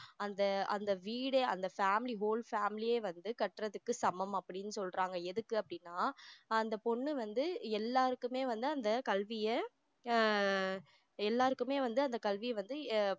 அந்த அந்த வீடே அந்த family whole family யே வந்து கற்றதுக்கு சமம் அப்படின்னு சொல்றாங்க எதுக்கு அப்படின்னா அந்த பொண்ணு வந்து எல்லாருக்குமே வந்து அந்த கல்விய ஆஹ் எல்லாருக்குமே வந்து அந்த கல்விய வந்து எர்